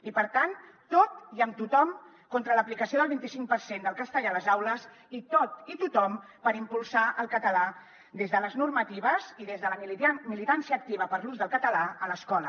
i per tant tot i amb tothom contra l’aplicació del vint i cinc per cent del castellà a les aules i tot i tothom per impulsar el català des de les normatives i des de la militància activa per l’ús del català a l’escola